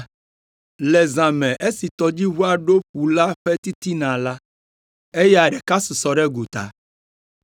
Le zã me esi tɔdziʋua ɖo ƒu la ƒe titina la, eya ɖeka susɔ ɖe gota.